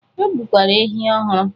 E gbukwara ehi ọhụrụ.